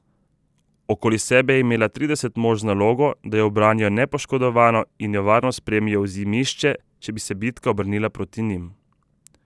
Okoli sebe je imela trideset mož z nalogo, da jo ubranijo nepoškodovano in jo varno spremijo v Zimišče, če bi se bitka obrnila proti njim.